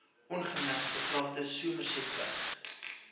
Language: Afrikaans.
ongemerkte grafte somersetweg